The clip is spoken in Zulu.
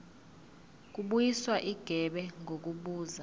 kubuyiswa igebe ngokubuza